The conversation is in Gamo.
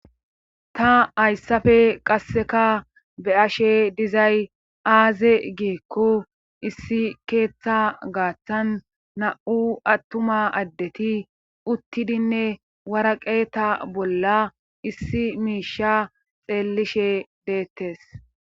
Ta hayssafe qasseka be ashe dizay aaze giekko issi keeththa gaaththan na'u attuma addeti uttidinne waraqe ta bolla issi miisha xeellishe deettes